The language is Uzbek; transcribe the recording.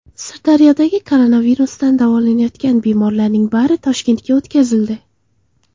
Sirdaryodagi koronavirusdan davolanayotgan bemorlarning bari Toshkentga o‘tkazildi.